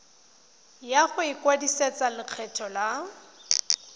ya go ikwadisetsa lekgetho la